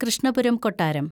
കൃഷ്ണപുരം കൊട്ടാരം